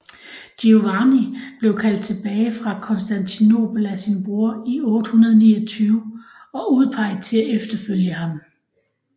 Giovanni blev kaldt tilbage fra Konstantinopel af sin bror i 829 og udpeget til at efterfølge ham